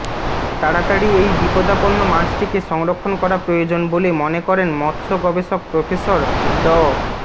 তাড়াতাড়ি এই বিপদাপন্ন মাছটিকে সংরক্ষণ করা প্রয়োজন বলে মনে করেন মৎস্য গবেষক প্রফেসার ড